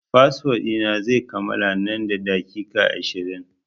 Fasfo ɗi na zai kammala nan da daƙiƙa ashirin.